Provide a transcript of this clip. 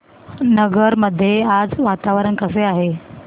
नगर मध्ये आज वातावरण कसे आहे